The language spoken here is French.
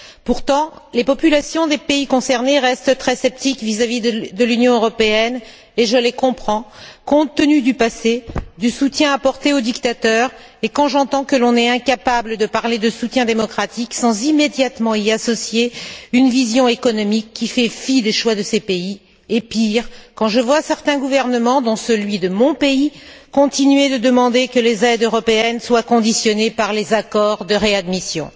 Pourtant, les populations des pays concernés restent très sceptiques vis à vis de l'Union européenne, et je les comprends, compte tenu du passé, du soutien apporté aux dictateurs, et quand j'entends que l'on est incapable de parler de soutien démocratique sans immédiatement y associer une vision économique qui fait fi des choix de ces pays et, pire, quand je vois certains gouvernements, dont celui de mon pays, continuer de demander que les aides européennes soient conditionnées par les accords de réadmission.